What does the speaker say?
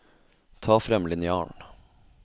Ta frem linjalen